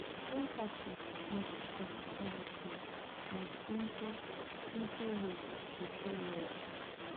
empathy no go cost anything; na simple simple way to show love.